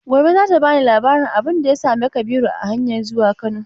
Gobe za ta ba ni labarin abin da ya same Kabiru a hanyan zuwa Kano.